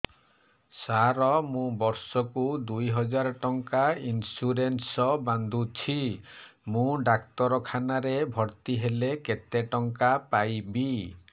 ସାର ମୁ ବର୍ଷ କୁ ଦୁଇ ହଜାର ଟଙ୍କା ଇନ୍ସୁରେନ୍ସ ବାନ୍ଧୁଛି ମୁ ଡାକ୍ତରଖାନା ରେ ଭର୍ତ୍ତିହେଲେ କେତେଟଙ୍କା ପାଇବି